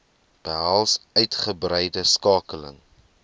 behels uitgebreide skakeling